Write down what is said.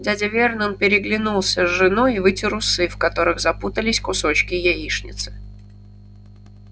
дядя вернон переглянулся с женой и вытер усы в которых запутались кусочки яичницы